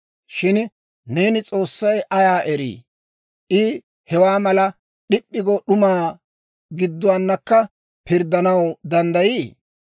Shin neeni, ‹S'oossay ayaa erii? I hewaa mala, d'ip'p'i go d'umaa gidduwaanakka pirddanaw danddayii?